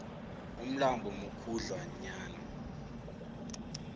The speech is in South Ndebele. umlambo mukhudlwa nyana